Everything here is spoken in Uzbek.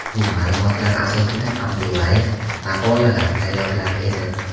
Bu ma’lumotlar asosida Abdullayev maqolalar tayyorlar edi.